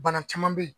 Bana caman bɛ ye